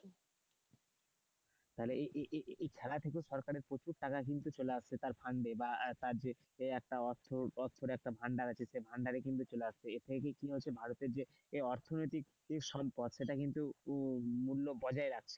তাহলে এই এই এই খেলা থেকেও সরকারের প্রচুর টাকা কিন্তু চলে আসছে তার fund বা তার চেয়ে এই অর্থ বা অর্থর একটা ভাণ্ডার আছে সেই ভাণ্ডারে কিন্তু চলে আসছে এর থেকে কি হচ্ছে ভারতের যে অর্থনৈতিক সম্পদ সেটা কিন্তু মূল্য বজায় রাখছে।